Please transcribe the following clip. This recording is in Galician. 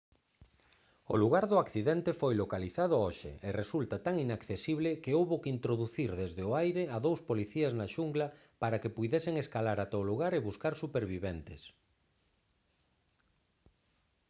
o lugar do accidente foi localizado hoxe e resulta tan inaccesible que houbo que introducir desde o aire a dous policías na xungla para que puidesen escalar ata a o lugar e buscar superviventes